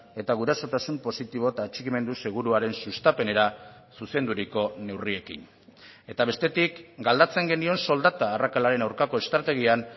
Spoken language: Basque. eta gurasotasun positibo eta atxikimendu seguruaren sustapenera zuzenduriko neurriekin eta bestetik galdetzen genion soldata arrakalaren aurkako estrategian